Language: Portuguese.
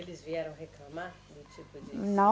Eles vieram reclamar do tipo disso?